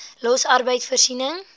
los arbeid voorsiening